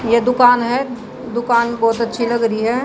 ये दुकान है। दुकान बहोत अच्छी लग रही है।